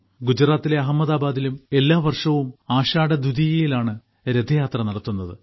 ഗുജറാത്തിലെ അഹമ്മദാബാദിലും എല്ലാവർഷവും ആഷാഢദ്വിതിയയിൽ ആണ് രഥയാത്ര നടത്തുന്നത്